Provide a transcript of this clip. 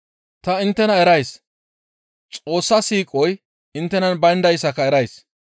Ta inttena erays; Xoossa siiqoy inttenan bayndayssaka erays.